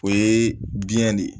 O ye biyɛn de ye